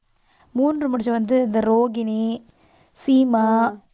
மூன்று முடிச்சு வந்து இந்த ரோகிணி சீமா